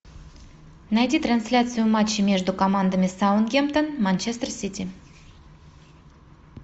найди трансляцию матча между командами саутгемптон манчестер сити